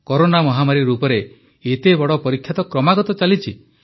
corona ମହାମାରୀ ରୂପରେ ଏତେ ବଡ଼ ପରୀକ୍ଷା ତ କ୍ରମାଗତ ଚାଲିଛି